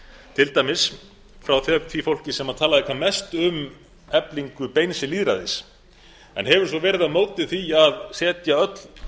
til dæmis frá því fólki sem talaði hvað mest um eflingu beins lýðræðis en hefur svo verið á móti því að setja öll